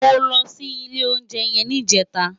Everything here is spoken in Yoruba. Mó lò si ilé óunjè yèn nijètá